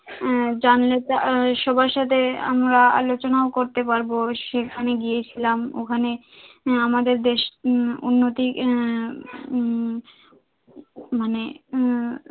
হ্যাঁ জানলে আমরা সবার সাথে আমরা আলোচনাও করতে পারব, সেখানে গিয়েছিলাম ওখানে আমাদের দেশ উন্নতি আহ উম মানে আহ